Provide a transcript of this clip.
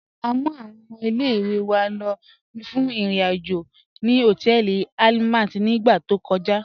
À mú àwọn ọmọ ilẹ̀-ìwé wá fún irin-ajo ni họtẹẹlì Àlmàt ni ìgbà tó kọ̀já.